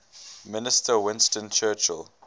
minister winston churchill